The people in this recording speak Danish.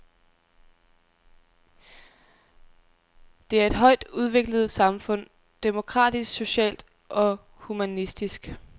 Det er et højt udviklet samfund, demokratisk, socialt og humanistisk.